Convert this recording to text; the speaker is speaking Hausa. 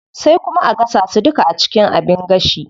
Sai kuma a gasa su duka a cikin abin gashi.